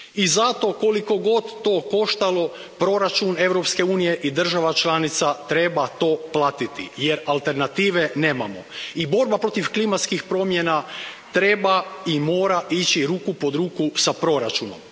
I zato, koliko god to koštalo proračun Europske unije i država članica, treba to platiti jer alternative nemamo. I borba protiv klimatskih promjena treba i mora ići ruku pod ruku s proračunom.